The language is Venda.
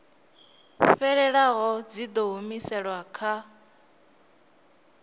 fhelelaho dzi ḓo humiselwa kha